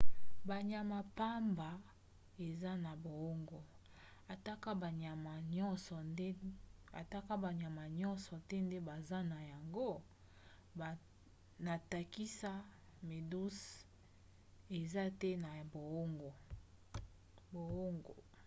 banyama pamba eza na boongo atako banyama nyonso te nde baza na yango; na ndakisa méduse eza te na boongo